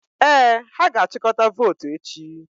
Ee, ha ga-achịkọta votu echi.